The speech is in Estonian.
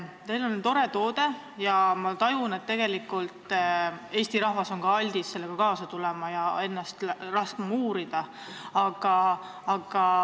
Teil on tore teenus, ma tajun, et Eesti rahvas on aldis sellega kaasa tulema ja laskma ennast uurida.